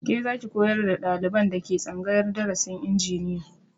Ke zaki koyar da ɗaliban da ke tsangayar darasin injiniya